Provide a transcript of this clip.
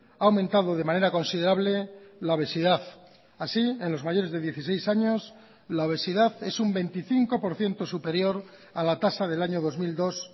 ha aumentado de manera considerable la obesidad así en los mayores de dieciséis años la obesidad es un veinticinco por ciento superior a la tasa del año dos mil dos